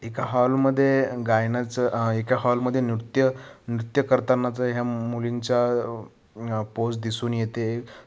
एका हॉल मध्ये गायनाच हा एका हॉल मध्ये नृत्य नृत्य करतानाच ह्या मुलींचा आ पोज दिसून येते.